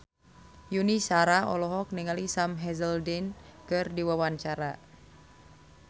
Yuni Shara olohok ningali Sam Hazeldine keur diwawancara